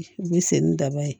U bɛ se ni daba ye